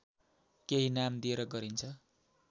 केही नाम दिएर गरिन्छ